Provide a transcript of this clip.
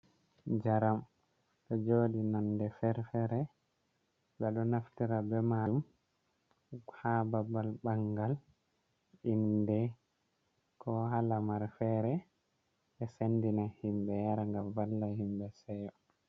Njaram ɗo joɗi nonde fere fere, ɓe ɗo do naftira be majum ha babal bangal, inde, ko ha lamar fere be sendina himɓe yara ngam valla himɓe seyo.